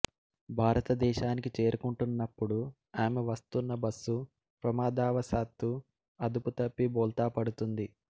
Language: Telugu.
భారతదేశానికి చేరుకుంటున్నప్పుడు ఆమె వస్తున్న బస్సు ప్రమాదవసాత్తూ అదుపుతప్పి బోల్తా పడుతుంది